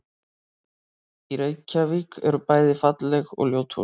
Í Reykjavík eru bæði falleg og ljót hús.